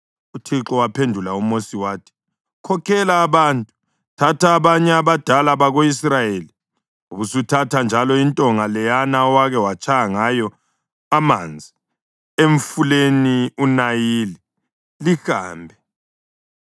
UThixo waphendula uMosi wathi “Khokhela abantu. Thatha abanye abadala bako-Israyeli ubusuthatha njalo intonga leyana owake watshaya ngayo amanzi emfuleni uNayili lihambe.